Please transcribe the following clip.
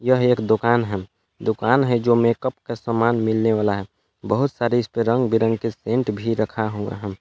यह एक दुकान है दुकान है जो मेकअप का सामान मिलने वाला है बहुत सारे इस पर रंग बिरंगे के सेंट भी रखा हुआ है।